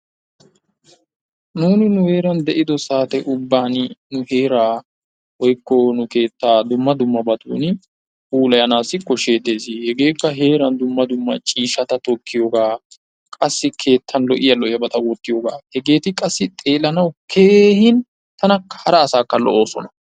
Nuuni nu heera de'ido saate ubbaan nu heeraa woykko nu keettaa dumma dummabatun puulayanaassi kooshshettees. Hegeekka heran dumma dumma ciishshata tokkiyoogaa. Qassi keettan lo"iyaa lo"iyyabat wottiyoogaa. Hegeeti qassi xeellanawu keehin tana hara asaakka lo"oosona.